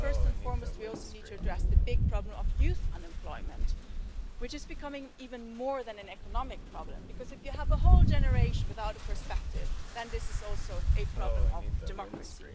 More than anything else, we also need to address the big problem of youth unemployment, which is becoming even more than an economic problem because if you have a whole generation without a perspective, this is also a problem of democracy.